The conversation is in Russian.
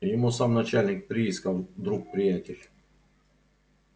ему сам начальник приисков друг приятель